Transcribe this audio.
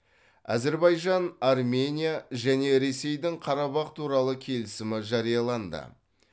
әзербайжан армения және ресейдің қарабах туралы келісімі жарияланды